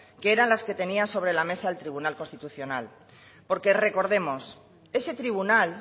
que eran las que tenía sobre la mesa el tribunal constitucional porque recordemos ese tribunal